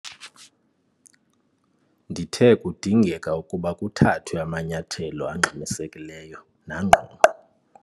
Ndithe kudingeka ukuba kuthathwe amanyathelo angxamisekileyo nangqongqo.